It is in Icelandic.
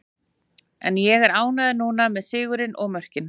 En ég er ánægður núna, með sigurinn og mörkin.